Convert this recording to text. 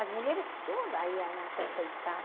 As mulheres todas iam se enfeitar.